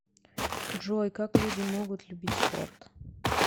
джой как люди могут любить спорт